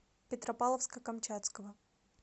петропавловска камчатского